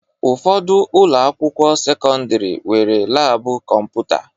Ụfọdụ ụlọakwụkwọ sekọndịrị nwere laabụ kọmputa